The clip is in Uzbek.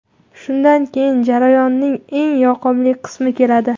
Shundan keyin jarayonning eng yoqimli qismi keladi.